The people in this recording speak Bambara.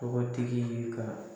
Tɔgɔ tigi ye ka